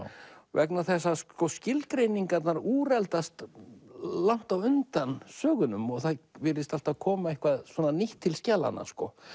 vegna þess að skilgreiningarnar úreldast langt á undan sögunum og það virðist alltaf koma eitthvað nýtt til skjalanna